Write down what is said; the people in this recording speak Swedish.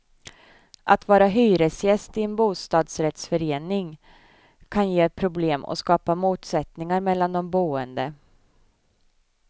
Att vara hyresgäst i en bosadsrättsförening kan ge problem och skapar motsättningar mellan de boende.